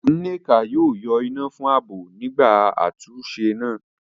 Nneka yóò yọ iná fún ààbò nígbà àtúnṣe náà.